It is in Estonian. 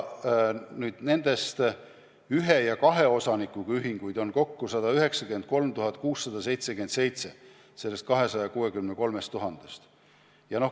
Ühe ja kahe osanikuga ühinguid on nende seas kokku 193 677.